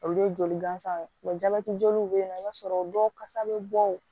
Olu ye joli gansan ye jabɛti joliw bɛ yen nɔ i b'a sɔrɔ dɔw kasa bɛ bɔ o